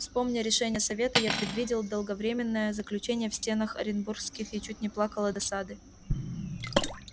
вспомня решение совета я предвидел долговременное заключение в стенах оренбургских и чуть не плакал от досады